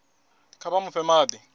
kha vha mu fhe madi